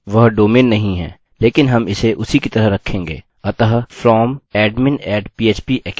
वास्तव में मेरे पास वह डोमैन नाम नहीं है लेकिन हम इसे उसी की तरह रखेंगे